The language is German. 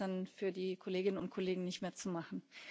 Das ist dann für die Kolleginnen und Kollegen nicht mehr zu machen.